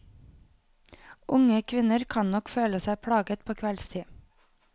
Unge kvinner kan nok føle seg plaget på kveldstid.